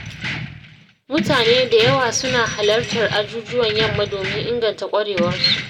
Mutane da yawa suna halartar ajujuwan yamma domin inganta ƙwarewarsu.